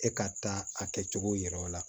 E ka taa a kɛcogo yira o la